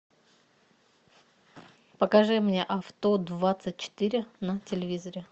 покажи мне авто двадцать четыре на телевизоре